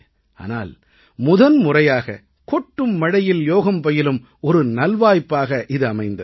ஆனால் முதன்முறையாக கொட்டும் மழையில் யோகம் பயிலும் ஒரு நல்வாய்ப்பாக இது அமைந்தது